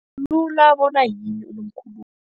Hlathulula bona yini unomkhulumi.